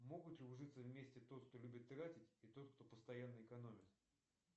могут ли ужиться вместе тот кто любит тратить и тот кто постоянно экономит